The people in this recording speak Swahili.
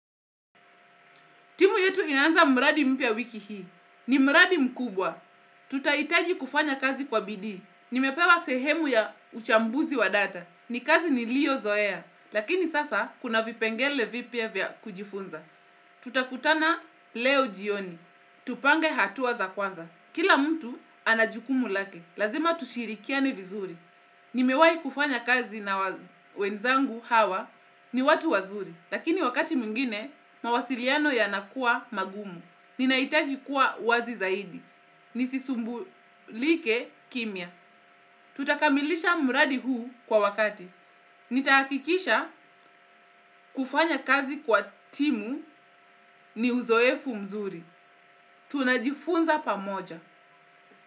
Timu yetu inaanza mradi mpya wiki hii. Ni mradi mkubwa. Tutahitaji kufanya kazi kwa bidii. Nimepewa sehemu ya uchambuzi wa data. Ni kazi niliyozoea. Lakini sasa kuna vipengele vipya vya kujifunza. Tutakutana leo jioni. Tupange hatua za kwanza. Kila mtu anajukumu lake. Lazima tushirikiane vizuri. Nimewahi kufanya kazi na wenzangu hawa ni watu wazuri. Lakini wakati mwingine, mawasiliano yanakuwa magumu. Ninahitaji kuwa wazi zaidi. Nisisumbulike kimya. Tutakamilisha mradi huu kwa wakati. Nitahakikisha kufanya kazi kwa timu ni uzoefu mzuri. Tunajifunza pamoja.